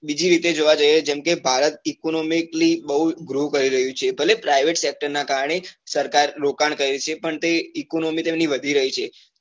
બીજી રીતે જોવા જઈએ જેમ કે ભારત economically બઉ grow કરી રહ્યું છે ભલે private sector નાં કારણે સરકાર રોકાણ કરે છે પણ તે economically વધી રહ્યું છે